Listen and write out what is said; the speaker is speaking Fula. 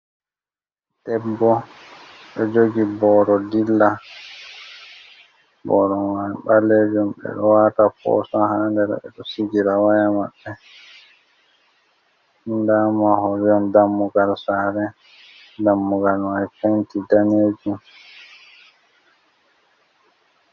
Debbo ɗo jogi booro dilla. Booro mai ɓalejum ɓeɗo wata posa haa nder, ɓe ɗo sigira waya maɓɓe nda mahol, dammugal sare dammugal mai fenti danejum.